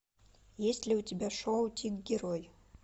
есть ли у тебя шоу тик герой